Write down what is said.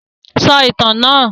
Sọ ìtàn náà!